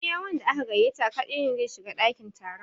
Iya wanda aka gaiyata kaɗai ne zai shiga ɗakin taron